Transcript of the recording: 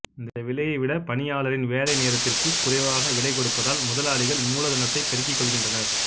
இந்த விலையை விட பணியாளரின் வேலைநேரத்திற்கு குறைவாக விலை கொடுப்பதால் முதலாளிகள் மூலதனத்தை பெருக்கிக் கொள்கின்றனர்